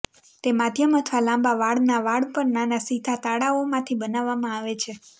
તે માધ્યમ અથવા લાંબા વાળના વાળ પર નાના સીધા તાળાઓમાંથી બનાવવામાં આવે છે